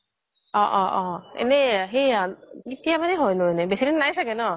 অহ্' অহ্' অহ্' এনেই সেই এইয়া কেতিয়া মানে হয় বেছিদিন নাই চাগে ন